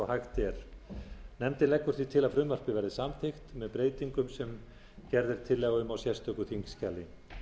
hægt er nefndin leggur því til að frumvarpið verði samþykkt með breytingum sem gerð er tillaga um í sérstöku þingskjali